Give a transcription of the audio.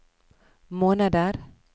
måneder